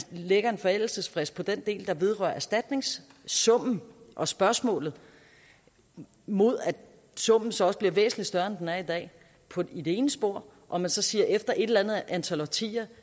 lægger en forældelsesfrist på den del der vedrører erstatningssummen og spørgsmålet mod at summen så også bliver væsentlig større end den er i dag i det ene spor og så siger man at efter et eller andet antal årtier